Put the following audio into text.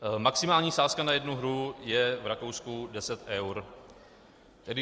Maximální sázka na jednu hru je v Rakousku deset eur.